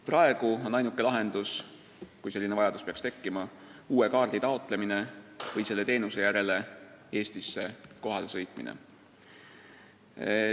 Praegu on ainuke lahendus, kui selline vajadus on tekkinud, uus kaart taotleda või selle teenuse saamiseks Eestisse kohale sõita.